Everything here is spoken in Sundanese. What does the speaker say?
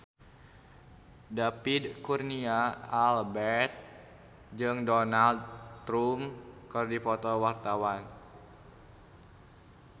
David Kurnia Albert jeung Donald Trump keur dipoto ku wartawan